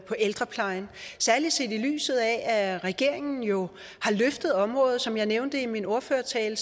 på ældreplejen særlig set i lyset af at regeringen jo har løftet området som jeg nævnte i min ordførertale